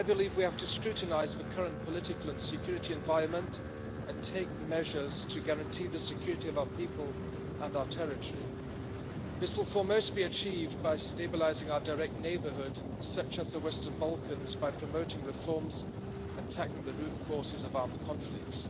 We have to scrutinise the current political and security environment and take measures to guarantee the security of our people and our territory. This will for most be achieved by stabilising our direct neighbourhood, such as the Western Balkans, by promoting reforms and tackling the root causes of armed conflicts.